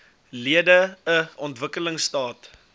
lede n ontwikkelingstaat